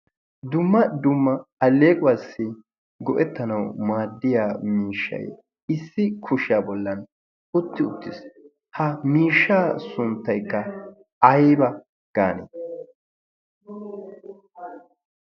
Dumma dumma alleequwaassi go'ettanau maaddiya miishshay issi kushiyaa bollan utti uttiis. ha miishsha sunttaykka aiba gaane?